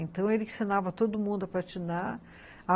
Então ele ensinava todo mundo a patinar.